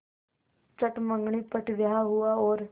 चट मँगनी पट ब्याह हुआ और